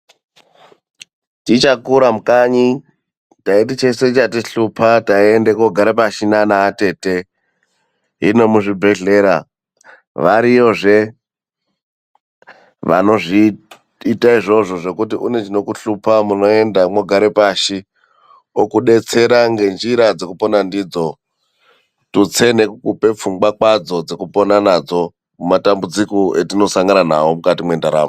Tichakura mukanyi, taiti cheshe chatihlupa, taienda koogara pashi nana atete. Hino muzvibhedhlera, variyozve vanozviita izvozvo zvekuti une chinokuhlupa, munoenda mwogare pashi. Okudetsera ngenjira dzekupona ndidzo, tutsei nekukupa pfungwa kwadzo dzekupona nadzo mumatambudziko etinosangana nawo mukati mwendaramo.